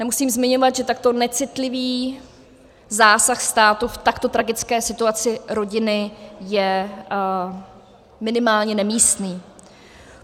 Nemusím zmiňovat, že takto necitlivý zásah státu v takto tragické situaci rodiny je minimálně nemístný.